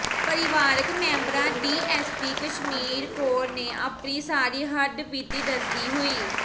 ਪਰਿਵਾਰਕ ਮੈਂਬਰਾਂ ਡੀਐਸਪੀ ਕਸ਼ਮੀਰ ਕੌਰ ਨੂੰੇ ਆਪਣੀ ਸਾਰੀ ਹੱਡਬੀਤੀ ਦੱਸਦੀੇ ਹੋਈ